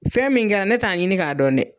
Fɛn min kɛra ne t'a ɲini k'a dɔn dɛ